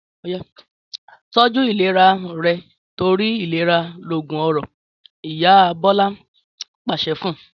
Tọ́jú ìlera rẹ torí ìlera loògùn ọrọ̀!', Ìyá Bọlá pàṣẹ fun